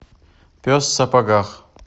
пес в сапогах